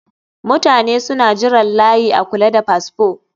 Mutane suna jiran layi a kula da fasfo